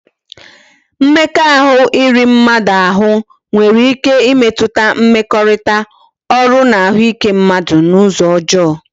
Mmekọahụ iri mmadu ahụ nwere ike ịmetụta mmekọrịta, ọrụ na ahụike mmadụ n'ụzọ ọjọọ